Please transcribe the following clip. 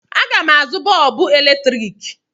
Aga m azụ bọọbụ eletrik.